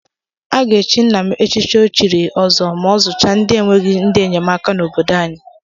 A ga-echi nna m echichi ọchịrị ọzụọ ma ọ zụchaa ndị enweghị ndị enyemaka n'obodo anyị.